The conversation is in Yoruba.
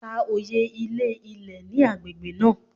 Ka oye ilé ilẹ̀ ní agbègbè náà.!